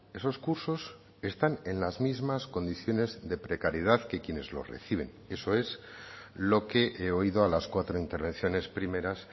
esos cursos están en las mismas condiciones de precariedad que quienes lo reciben eso es lo que he oído a las cuatro intervenciones primeras